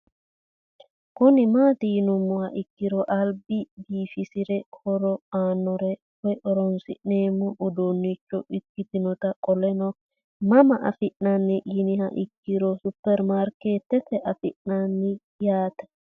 Kuni mati yinumoha ikiro aliba bifisirae horo anore woyi horonsinemo udunicho ikinota qoleno mama afina'ni yiniha ikiro supermarket afina'ni yaate